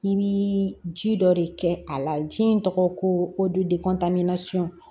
I bi ji dɔ de kɛ a la ji in tɔgɔ ko o duntamana suun